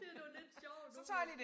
Det nogle lidt sjove nogle